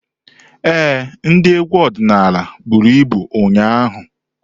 Ee, ndị egwu ọdịnala buru abụ ụnyaahụ.